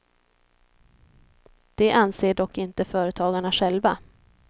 Det anser dock inte företagarna själva.